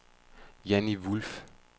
Janni Wolff